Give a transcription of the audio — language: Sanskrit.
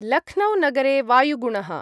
लख्नौ-नगरे वायुगुणः।